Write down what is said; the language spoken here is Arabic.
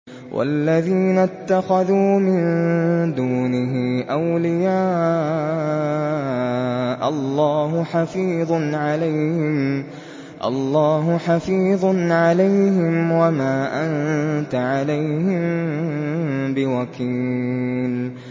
وَالَّذِينَ اتَّخَذُوا مِن دُونِهِ أَوْلِيَاءَ اللَّهُ حَفِيظٌ عَلَيْهِمْ وَمَا أَنتَ عَلَيْهِم بِوَكِيلٍ